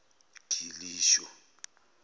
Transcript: gilisho